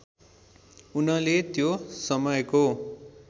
उनले त्यो समयको